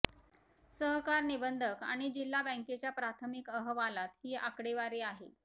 सहकार निबंधक आणि जिल्हा बँकेच्या प्राथमिक अहवालात ही आकडेवारी आहे